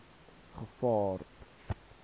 gevaar